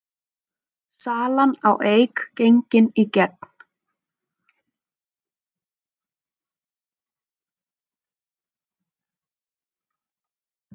Salan á Eik gengin í gegn